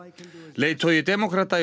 leiðtogi demókrata í